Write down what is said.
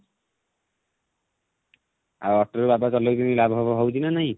ଆଉ auto ରେ ବାବା ଗଲେ କିଛି ଲାଭ ଫାଭ ହଉଛି ନା ନାହିଁ